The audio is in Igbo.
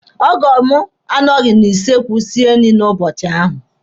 Ọgọ m anọghị na kichin sie nri n'ụbọchị ahụ.